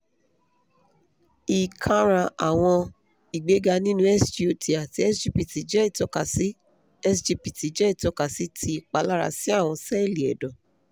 hi karan awọn igbega ninu sgot ati sgpt jẹ itọkasi sgpt jẹ itọkasi ti ipalara si awọn sẹẹli ẹdọ